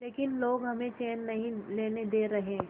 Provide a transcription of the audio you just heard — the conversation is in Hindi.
लेकिन लोग हमें चैन नहीं लेने दे रहे